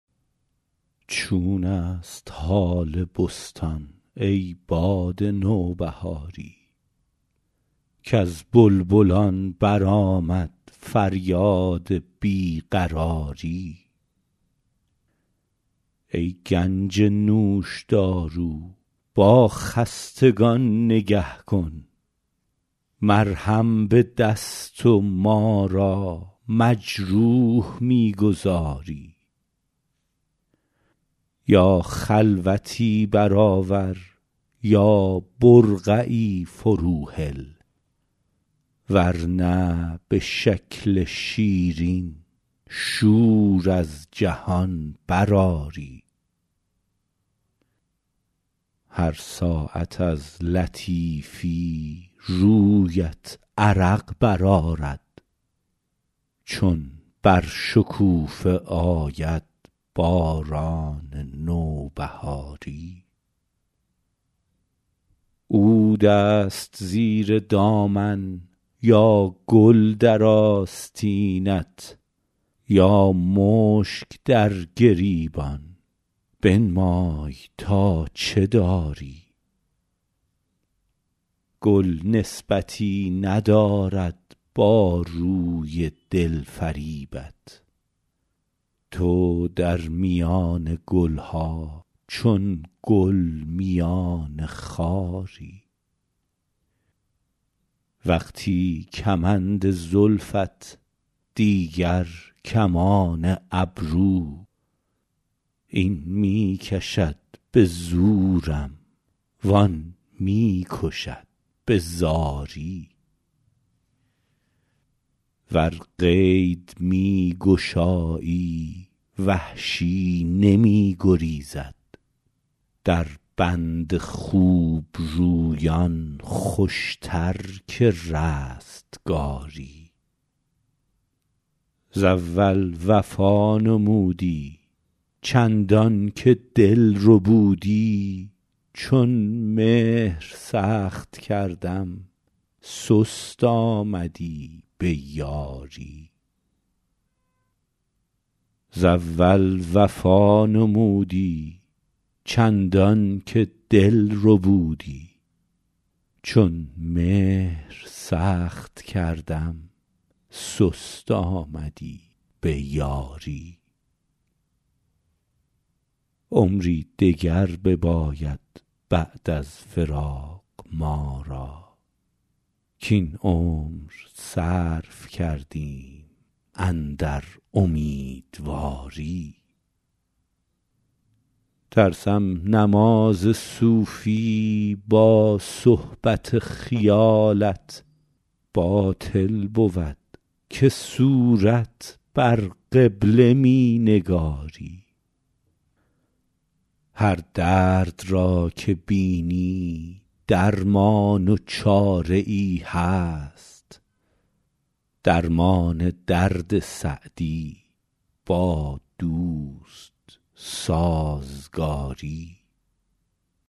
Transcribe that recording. چون است حال بستان ای باد نوبهاری کز بلبلان برآمد فریاد بی قراری ای گنج نوشدارو با خستگان نگه کن مرهم به دست و ما را مجروح می گذاری یا خلوتی برآور یا برقعی فروهل ور نه به شکل شیرین شور از جهان برآری هر ساعت از لطیفی رویت عرق برآرد چون بر شکوفه آید باران نوبهاری عود است زیر دامن یا گل در آستینت یا مشک در گریبان بنمای تا چه داری گل نسبتی ندارد با روی دل فریبت تو در میان گل ها چون گل میان خاری وقتی کمند زلفت دیگر کمان ابرو این می کشد به زورم وآن می کشد به زاری ور قید می گشایی وحشی نمی گریزد در بند خوبرویان خوشتر که رستگاری ز اول وفا نمودی چندان که دل ربودی چون مهر سخت کردم سست آمدی به یاری عمری دگر بباید بعد از فراق ما را کاین عمر صرف کردیم اندر امیدواری ترسم نماز صوفی با صحبت خیالت باطل بود که صورت بر قبله می نگاری هر درد را که بینی درمان و چاره ای هست درمان درد سعدی با دوست سازگاری